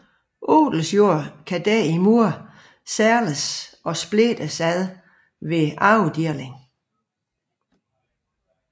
Odelsjord kan derimod sælges og splittes ved arvedeling